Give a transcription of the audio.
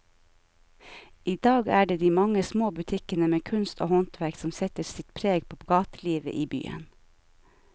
I dag er det de mange små butikkene med kunst og håndverk som setter sitt preg på gatelivet i byen.